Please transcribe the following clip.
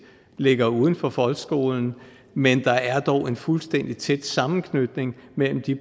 ligger uden for folkeskolen men der er dog en fuldstændig tæt sammenknytning mellem de